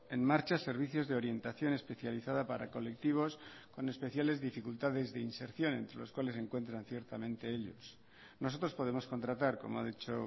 en marcha servicios de orientación especializada para colectivos con especiales dificultades de inserción entre los cuales se encuentran ciertamente ellos nosotros podemos contratar como ha dicho